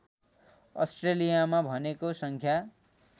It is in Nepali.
अस्ट्रेलियामा भेनेको सङ्ख्या